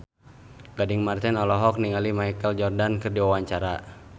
Gading Marten olohok ningali Michael Jordan keur diwawancara